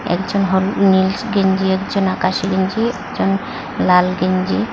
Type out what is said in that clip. একজন হলু নীলস্ গেঞ্জি একজন আকাশী গেঞ্জি একজন লাল গেঞ্জি--